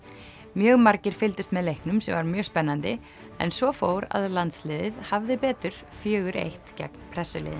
mjög margir fylgdust með leiknum sem var mjög spennandi en svo fór að landsliðið hafði betur fjögur til einn gegn